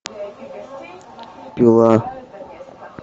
пила